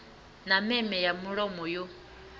na meme ya mulomo yo